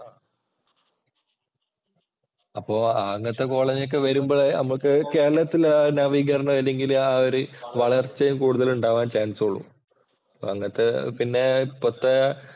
അപ്പോ അങ്ങനത്തെ കോളേജ് ഒക്കെ വരുമ്പോഴേ നമുക്ക് കേരളത്തില്‍ നവീകരണം അല്ലെങ്കില്‍ ഒരു വളർച്ചയും കൂടുതൽ ഉണ്ടാവാം ചാന്‍സ് ഉള്ളൂ. അങ്ങനത്തെ പിന്നെ ഇപ്പത്തെ